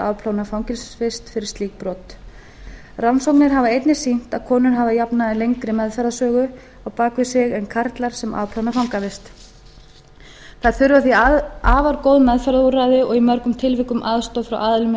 afplána fangelsisvist fyrir slík brot rannsóknir hafa einnig sýnt að konur hafa að jafnaði lengri meðferðarsögu á bak við sig en karlar sem afplána fangavist þær þurfa því afar góð meðferðarúrræði og í mörgum tilvikum aðstoð frá aðilum